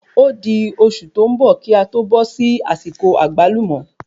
Ódi oṣù tí o n bọ̀ ki a tó bó sí àsìkò Àgbálùmó